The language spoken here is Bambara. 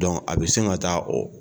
a bɛ sin ka taa o